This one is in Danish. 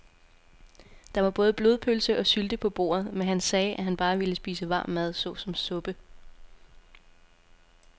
Der var både blodpølse og sylte på bordet, men han sagde, at han bare ville spise varm mad såsom suppe.